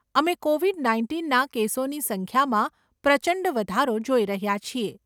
અમે કોવિડ નાઇન્ટીનના કેસોની સંખ્યામાં પ્રચંડ વધારો જોઈ રહ્યા છીએ.